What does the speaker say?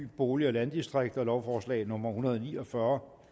bolig og landdistrikter lovforslag nummer hundrede og ni og fyrre